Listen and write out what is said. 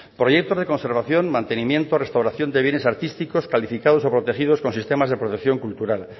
proyectos de conservación mantenimiento restauración de bienes artísticos calificados o protegidos con sistemas de protección cultural